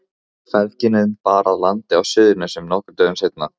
Feðginin bar að landi á Suðurnesjum nokkrum dögum seinna.